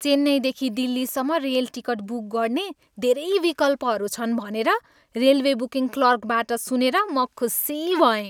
चेन्नईदेखि दिल्लीसम्म rail ticket book गर्ने धेरै विकल्पहरू छन् भनेर रेलवे बुकिङ क्लर्कबाट सुनेर म खुसी भएँ।